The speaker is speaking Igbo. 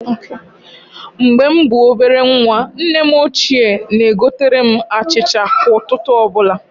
Mgbe m bụ ọbere nwa, nne m ochie na-egotere m achịcha kwa ụtụtụ ọbụla.